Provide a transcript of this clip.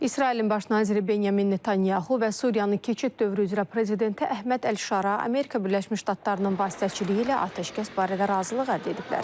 İsrailin baş naziri Benyamin Netanyahu və Suriyanın keçid dövrü üzrə prezidenti Əhməd Əlşara Amerika Birləşmiş Ştatlarının vasitəçiliyi ilə atəşkəs barədə razılıq əldə ediblər.